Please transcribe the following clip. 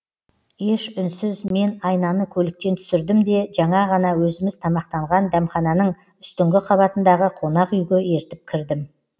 еш үнсіз мен айнаны көліктен түсірдім де жаңа ғана өзіміз тамақтанған дәмхананың үстіңгі қабатындағы қонақ үйге ертіп кірдім